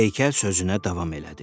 Heykəl sözünə davam elədi.